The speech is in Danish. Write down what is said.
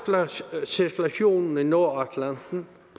havcirkulationen i nordatlanten